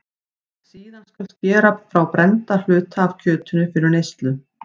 Síðan skal skera frá brennda hluta af kjötinu fyrir neyslu.